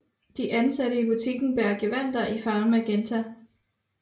De ansatte i butikken bærer gevandter i farven magenta